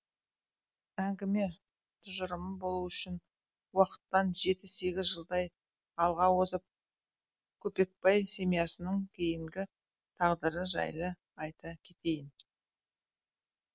әңгіме тұжырымды болу үшін уақыттан жеті сегіз жылдай алға озып көпекбай семьясының кейінгі тағдыры жайлы айта кетейін